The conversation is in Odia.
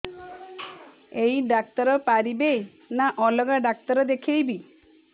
ଏଇ ଡ଼ାକ୍ତର ପାରିବେ ନା ଅଲଗା ଡ଼ାକ୍ତର ଦେଖେଇବି